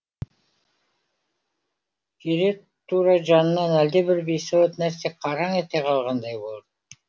кенет тура жанынан әлдебір бейсауат нәрсе қараң ете қалғандай болды